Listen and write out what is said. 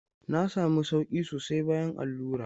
Na sami sauƙi sosai bayan allura.